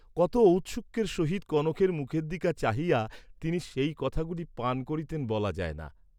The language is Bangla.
কত ঔৎসুক্যের সহিত কনকের মুখের দিকে চাহিয়া তিনি সেই কথাগুলি পান করিতেন বলা যায় না।